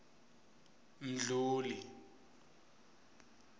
mdluli